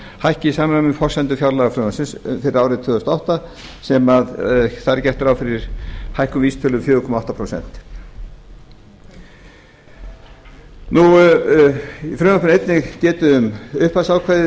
hækki í samræmi við forsendur fjárlagafrumvarpsins fyrir árið tvö þúsund og átta en þar er gert ráð fyrir hækkun vísitölu um fjóra komma átta prósent í frumvarpinu er einnig getið um upphafsákvæði